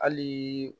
Hali